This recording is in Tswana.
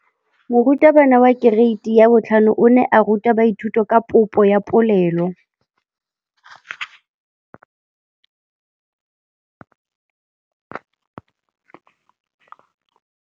Moratabana wa kereiti ya 5 o ne a ruta baithuti ka popô ya polelô.